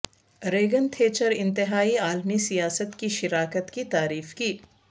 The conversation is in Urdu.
ریگن تھیچر انتہائی عالمی سیاست کی شراکت کی تعریف کی